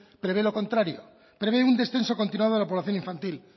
prevé lo contrario prevé un descenso continuado de la población infantil